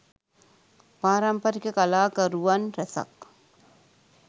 පාරම්පරික කලාකරුවන් රැසක්